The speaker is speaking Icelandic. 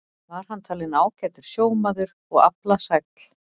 Var hann talinn ágætur sjómaður og aflasæll.